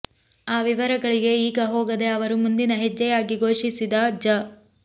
ಆ ವಿವರಗಳಿಗೆ ಈಗ ಹೋಗದೆ ಅವರು ಮುಂದಿನ ಹೆಜ್ಜೆಯಾಗಿ ಘೋಷಿಸಿದ ಜ